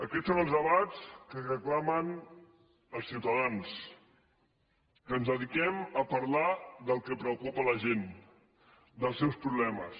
aquests són els debats que reclamen els ciutadans que ens dediquem a parlar del que preocupa a la gent dels seus problemes